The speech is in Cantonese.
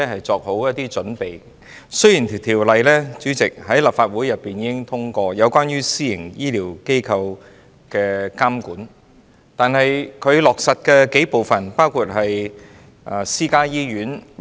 主席，雖然立法會已經通過關於監管私營醫療機構的條例，但在落實方面，包括私家醫院......